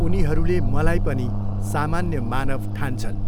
उनीहरूले मलाई पनि सामान्य मानव ठान्छन्।